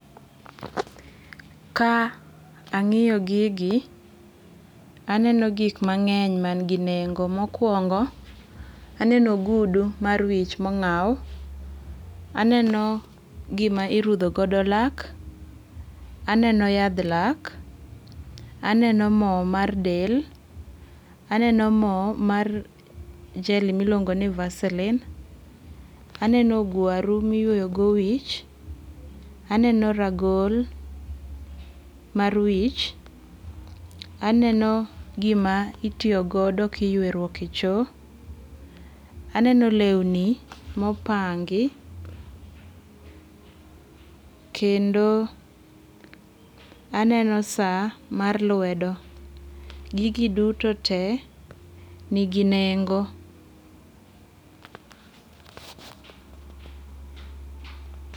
Ka ang'iyo gigi aneno gik mang'enny man gi nengo. Mokwongo aneno ogudu mar wich mong'aw. Aneno gima irudho godo lak. Aneno yadh lak. Aneno mo mar del. Aneno mo mar jelly miluongo ni Vaseline. Aneno ogwaru miyuoyo go wich. Aneno ragol mar wich. Aneno gima itiyogodo kiyweruok e cho. Aneno lewni mopangi. Kendo aneno saa mar lwedo. Gigi duto te nigi nengo.